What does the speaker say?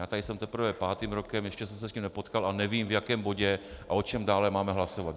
Já tady jsem teprve pátým rokem, ještě jsem se s tím nepotkal a nevím, v jakém bodě a o čem dále máme hlasovat.